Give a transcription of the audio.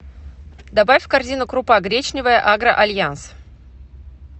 добавь в корзину крупа гречневая агро альянс